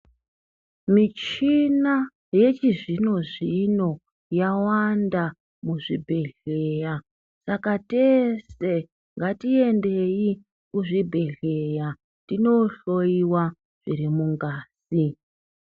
Michina yechizvino-zvino yawanda muzvibhedhleya, saka tese ngaiengei kuzvibhedhleya tinohloiwa zvirimungazi.